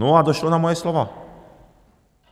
No a došlo na moje slova.